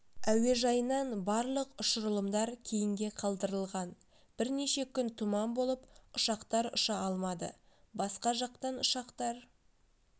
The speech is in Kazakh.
әуежайынан барлық ұшырылымдар кейінге қалдырылған бірнеше күн тұман болып ұшақтар ұша алмады басқа жақтан ұшақтар